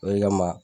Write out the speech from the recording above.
O de kama